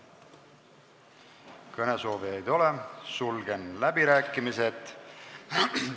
Kõnesoovijaid ei ole, sulgen läbirääkimised.